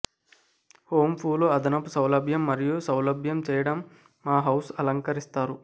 home పూలు అదనపు సౌలభ్యం మరియు సౌలభ్యం చేయడం మా హౌస్ అలంకరిస్తారు